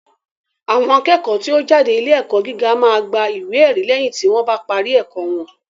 Àwọn akẹ́kọ̀ọ́ tí ó ń jáde ilé ẹ̀kọ́ gíga máa gba ìwé ẹ̀rí lẹ́yìn tí wọ́n bá parí ẹ̀kọ́ wọn